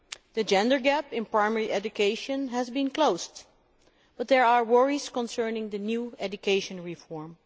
The gender gap in primary education has been closed, but there are worries concerning the new education reform.